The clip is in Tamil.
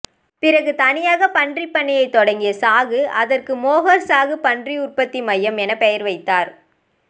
பிறகு தனியாக பன்றி பண்ணையை தொடங்கிய சாகு அதற்கு மோஹர் சாகு பன்றி உற்பத்தி மையம் என பெயர் வைத்தார்